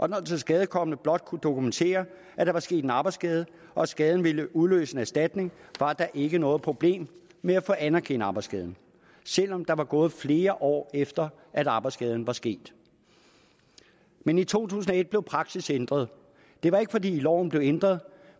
den tilskadekomne blot kunne dokumentere at der var sket en arbejdsskade og at skaden ville udløse en erstatning var der ikke noget problem med at få anerkendt arbejdsskaden selv om der var gået flere år efter at arbejdsskaden var sket men i to tusind og et blev praksis ændret det var ikke fordi loven blev ændret